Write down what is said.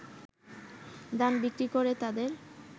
ধান বিক্রি করে তাদের